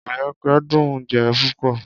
Ìbẹpẹ dùn-ún jẹ púpọ̀.